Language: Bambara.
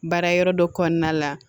Baara yɔrɔ dɔ kɔnɔna la